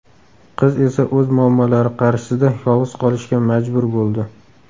Qiz esa o‘z muammolari qarshisida yolg‘iz qolishga majbur bo‘ldi.